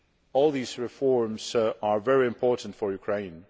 All these reforms are very important for Ukraine.